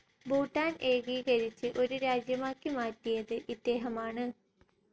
ഭൂട്ടാൻ ഏകീകരിച്ച് ഒരു രാജ്യമാക്കി മാറ്റിയത് ഇദ്ദേഹമാണ്.